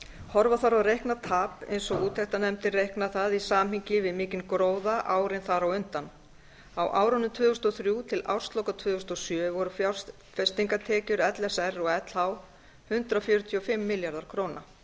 horfa þarf á reiknað tap eins og úttektarnefndin reiknar það í samhengi við mikinn gróða árin þar á undan á árunum tvö þúsund og þrjú til ársloka tvö þúsund og sjö voru fjárfestingartekjur l s r og lh hundrað fjörutíu og fimm milljarðar króna